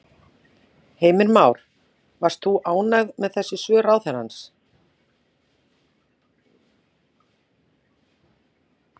Heimir Már: Varst þú ánægð með þessi svör ráðherrans?